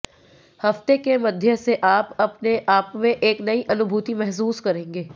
हफ्ते के मध्य से आप अपने आपमें एक नई अनुभूति महसूस करेंगे